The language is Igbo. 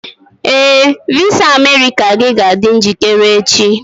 Ee, visa America gị ga-adị njikere echi.